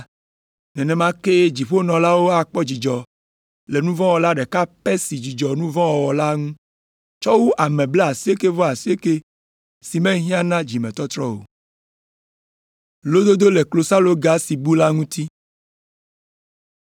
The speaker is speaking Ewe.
“Nenema kee dziƒonɔlawo akpɔ dzidzɔ le nu vɔ̃ wɔla ɖeka pɛ si dzudzɔ nu vɔ̃ wɔwɔ la ŋu tsɔ wu ame blaasiekɛ-vɔ-asiekɛ siwo mehiã na dzimetɔtrɔ o.